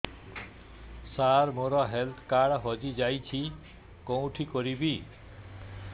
ସାର ମୋର health card ହଜି ଯାଇଛି କେଉଁଠି କରିବି